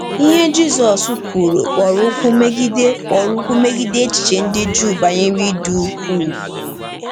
Ihe Jizọs kwuru kpọrọ ụkwụ megide kpọrọ ụkwụ megide echiche ndị Juu banyere ịdị ukwuu!